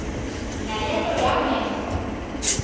le nto yamenza